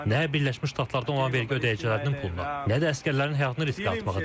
nə Birləşmiş Ştatlardan olan vergi ödəyicilərinin puluna, nə də əsgərlərin həyatını riskə atmağa dəyər.